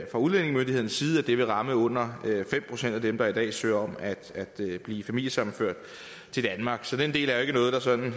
fra udlændingemyndighedernes side vurderer at det vil ramme under fem procent af dem der i dag søger om at blive familiesammenført til danmark så den del er ikke noget der sådan